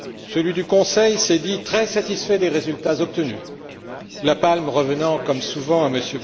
Celui du Conseil s'est dit très satisfait des résultats obtenus, la palme revenant, comme souvent, à M.